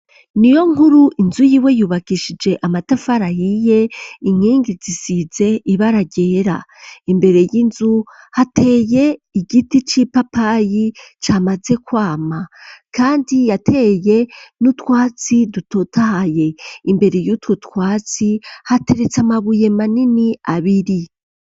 Ni yo nkuru inzu yiwe yubakishije amatafarayiye inkingi zisize ibararyera imbere y'inzu hateye igiti c'ipapayi camaze kwama, kandi yateye n'utwatsi dutotahaye imbere yutwo twatsi hateretse amabuye mane ini abiri.